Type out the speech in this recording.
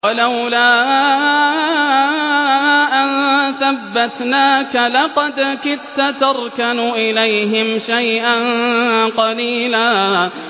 وَلَوْلَا أَن ثَبَّتْنَاكَ لَقَدْ كِدتَّ تَرْكَنُ إِلَيْهِمْ شَيْئًا قَلِيلًا